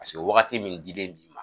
Paseke wagati min dilen bi ma